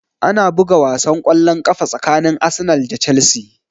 Ana buga wasan kwallon ƙafa tsakanin Arsenal da Chelsea